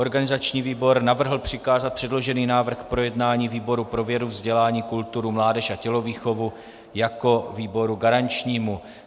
Organizační výbor navrhl přikázat předložený návrh k projednání výboru pro vědu, vzdělání, kulturu, mládež a tělovýchovu jako výboru garančnímu.